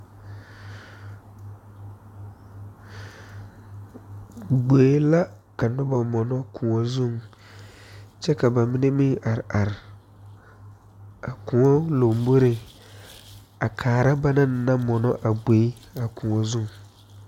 Gboe la ka noba mono kõɔ zuŋ kyɛ ka ba mine meŋ are are a kõɔ lomboreŋ a kaara bana naŋ mono a gboe a kõɔ zu.